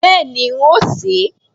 Bẹ́ẹ̀ni, n óò sè é